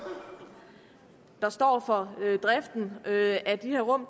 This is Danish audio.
der står for driften af de her rum